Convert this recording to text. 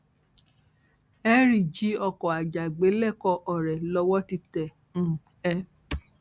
henry jí ọkọ àjàgbé lẹkọọ ọrẹ lowó ti tẹ um ẹ